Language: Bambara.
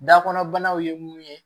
Dakɔnɔ banaw ye mun ye